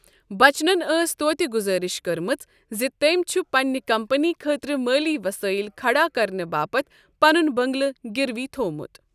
بَچنن ٲس توتہِ گُزٲرش کٔرمٕژ زِ تٔمۍ چھ پنٛنہِ کمپٔنی خٲطرٕ مٲلی وصٲیِل كھڈا کرنہٕ باپتھ پنُن بٔنٛگلہٕ گِروی تھوٚومت۔